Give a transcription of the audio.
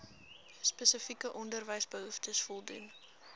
spesifieke onderwysbehoeftes voldoen